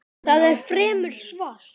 Það er fremur svalt.